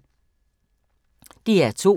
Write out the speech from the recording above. DR2